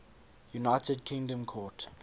united kingdom court